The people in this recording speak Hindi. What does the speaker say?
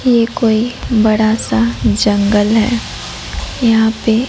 ये कोई बड़ा सा जंगल है यहां पे--